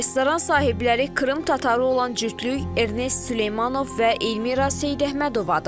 Restoran sahibləri Krım tatarı olan cütlük Ernest Süleymanov və Elmira Seyidəhmədovadır.